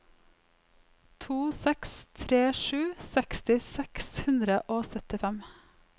to seks tre sju seksti seks hundre og syttifem